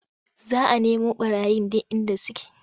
Za a nemu ɓarayin duk inda suke.